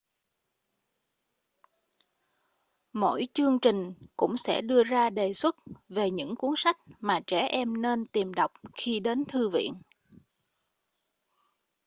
mỗi chương trình cũng sẽ đưa ra đề xuất về những cuốn sách mà trẻ em nên tìm đọc khi đến thư viện